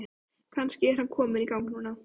Kannski er hann kominn í gang núna?